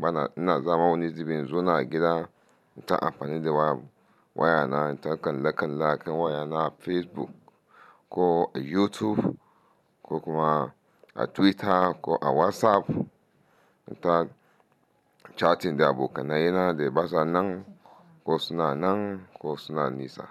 bana ina zama wani zubin in zona a gida inta amfani da waya waya na in ta kalla kalla a kan waya na Facebook ko YouTube ko kuma a Twitter ko a WhatsApp in ta chatting da abokanai yana da ba sanan ko suna nan ko suna nisa.